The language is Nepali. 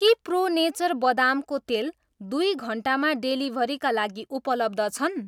के प्रो नेचर बदामको तेल दुई घन्टामा डेलिभरीका लागि उपलब्ध छन्?